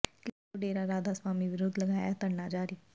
ਕਿਸਾਨਾਂ ਵਲੋਂ ਡੇਰਾ ਰਾਧਾ ਸਵਾਮੀ ਵਿਰੁਧ ਲਗਾਇਆ ਧਰਨਾ ਜਾਰੀ